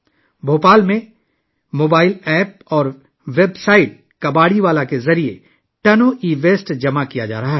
بھوپال میں ایک mobile app اور ویب سائٹ 'کباڑی والا' کے ذریعے ٹن ای ویسٹ جمع کیا جا رہا ہے